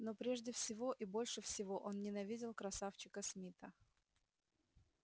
но прежде всего и больше всего он ненавидел красавчика смита